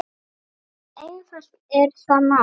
Svo einfalt er það mál.